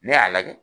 Ne y'a lajɛ